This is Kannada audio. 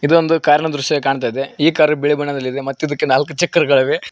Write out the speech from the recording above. ಇದು ಒಂದು ಕಾರ್ ನ ದೃಶ್ಯ ಕಾಣ್ತಾ ಇದೆ ಈ ಕಾರ್ ಬಿಳಿ ಬಣ್ಣದಲ್ಲಿದೆ ಮತ್ತು ಇದಕ್ಕೆ ನಾಲ್ಕು ಚಕ್ರಗಳಿವೆ.